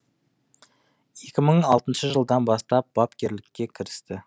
екі мың алтыншы жылдан бастап бапкерлікке кірісті